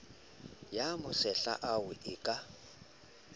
a masehla ao e ka